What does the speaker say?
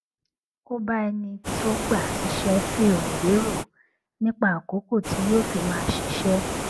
ó bá ẹni tó gbà á síṣé fèrò wérò nípa àkókò tí yóò fi máa ṣiṣé